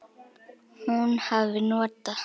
Hún hafi notað